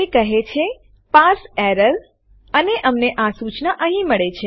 તે કહે છે પાર્સે એરર અને અમને આ સુચના અહીંયા મળે છે